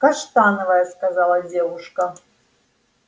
каштановая сказала девушка